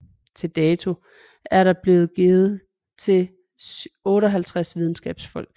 Til dato er den blevet givet til 58 videnskabsfolk